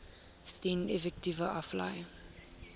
dien effekte aflê